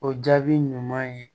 O jaabi ɲuman ye